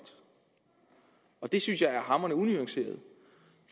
og det synes jeg er hamrende unuanceret